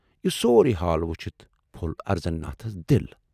یہِ سورُے حال وُچھِتھ پھول اَرزن ناتھس دِل۔